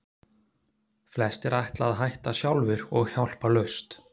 Flestir ætla að hætta sjálfir og hjálparlaust.